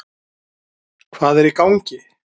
Hvað er í gangi?